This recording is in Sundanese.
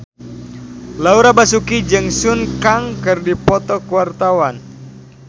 Laura Basuki jeung Sun Kang keur dipoto ku wartawan